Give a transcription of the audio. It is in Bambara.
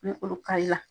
Ni olu ka la